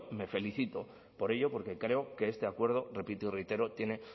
me felicito por ello porque creo que este acuerdo repito y reitero tiene